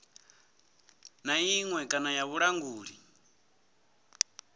na iṅwe kana ya vhulanguli